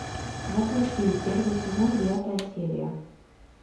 во плоти первый сезон девятая серия